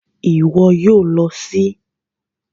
Ìwo yio lo sí